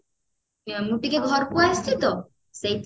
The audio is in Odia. ମୁ ଟିକେ ଘରକୁ ଆସିଛି ତ